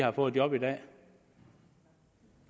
har fået job i dag